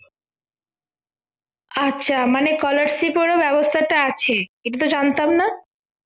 আচ্ছা মানে scholarship এরও ব্যবস্থাটা আছে এটাতো জানতাম না